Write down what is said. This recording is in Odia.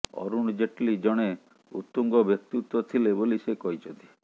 ଅରୁଣ ଜେଟଲୀ ଜଣେ ଉତ୍ତୁଙ୍ଗ ବ୍ୟକ୍ତିତ୍ୱ ଥିଲେ ବୋଲି ସେ କହିଛନ୍ତି